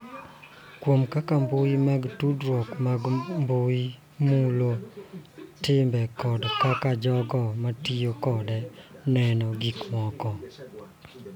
Kuom kaka mbui mag tudruok mag mbui mulo tim kod kaka jogo matiyo kode neno gik moko.